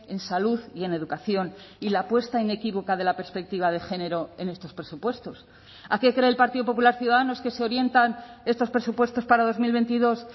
en salud y en educación y la apuesta inequívoca de la perspectiva de género en estos presupuestos a qué cree el partido popular ciudadanos que se orientan estos presupuestos para dos mil veintidós